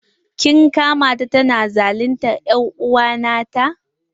Kin kama ta tana zaluntar er'uwa nata?